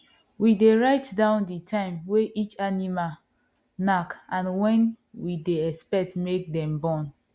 we dey write down the time way each animal knack and when we dey expect make dem born